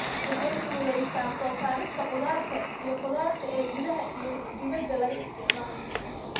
Waxay fududaysaa soo saarista khudaarta iyo khudaarta ee gudaha iyo dibadda laga isticmaalo.